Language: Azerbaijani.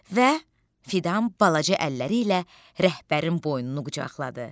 Və Fidan balaca əlləri ilə rəhbərin boynunu qucaqladı.